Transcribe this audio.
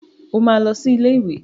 O máa lọ sí ilé ìwé.